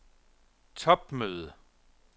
topmøde